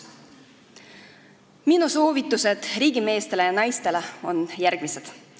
Minu soovitused riigimeestele ja -naistele on järgmised.